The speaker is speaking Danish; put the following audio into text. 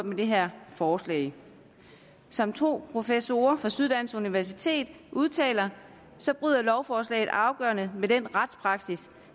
med det her forslag som to professorer fra syddansk universitet udtaler så bryder lovforslaget afgørende med den retspraksis